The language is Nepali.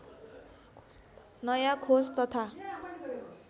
नयाँ खोज तथा